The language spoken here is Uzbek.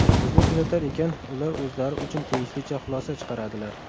Bizni kuzatar ekan, ular o‘zlari uchun tegishlicha xulosa chiqaradilar”.